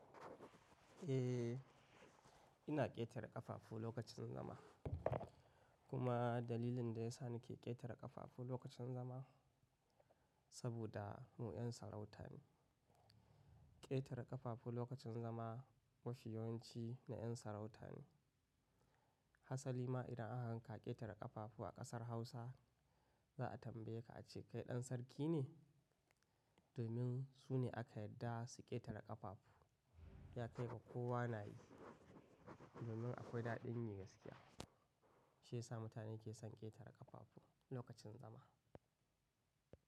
Eh, ina ƙetare ƙafafu lokacin zama. Kuma dalilin da ya sa nake ƙetare ƙafafu lokacin zama saboda mu 'yan sarauta ne. Ƙetare ƙafafu lokacin zama mafiyawanci na 'yan sarauta ne. Hasa lima idan aka gan ka ƙetare ƙafafu a ƙasar Hausa, za a tambaye ka a ce kai ɗan sarki ne? Domin su ne aka yadda su ƙetare ƙafafu. Ya kai ga kowa na yi. Domin akwai daɗin yi gaskiya. Shi ya sa mutane ke son ƙetare ƙafafu lokacin zama.